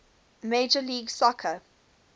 major league soccer